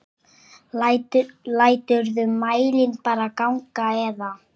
Læturðu mælinn bara ganga eða?